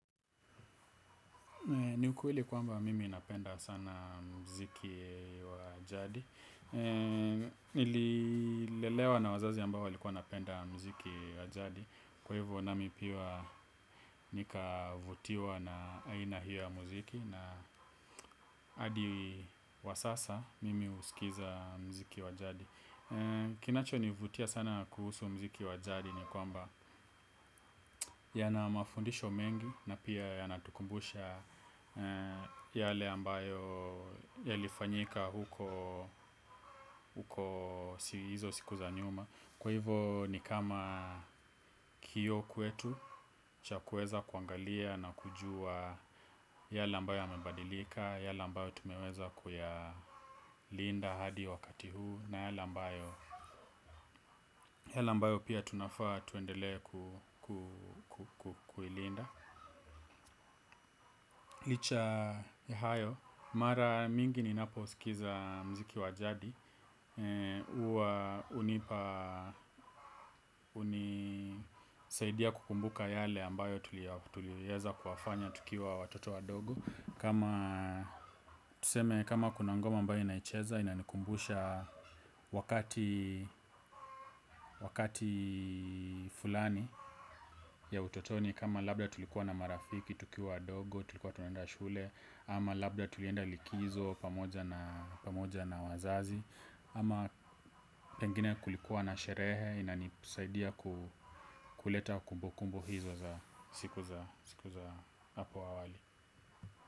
Niukweli kwamba mimi napenda sana mziki wajadi. Nililelewa na wazazi ambao walikuwa napenda mziki wajadi. Kwa hivyo nami pia nikavutiwa na aina hio ya muziki wasasa mimi usikiza muziki wajadi. Kinacho nivutia sana kuhusu muziki wajadi ni kwamba yana mafundisho mengi. Na pia ya natukumbusha yale ambayo ya lifanyika huko hizo siku zanyuma. Kwa hivo ni kama hiyo kwetu chakuweza kuangalia na kujua yale ambayo yamebadilika. Yale ambayo tumeweza kuyalinda hadi wakati huu na yale ambayo pia tunafaa tuendele kuilinda licha ya hayo mara nyingi ninapo skiza muziki wa jadi huwa hunipa na kunisaidia kukumbuka yale ambayo tuliifanya tukiwa watoto wadogo wakati fulani ya utotoni kama labda tulikuwa na marafiki tukiwa wadogo tulikuwa tunenda shule ama labda tulienda likizo pamoja na wazazi ama pengine kulikuwa na sherehe inanisaidia kuleta kumbukumbu hizo za siku za apo awali.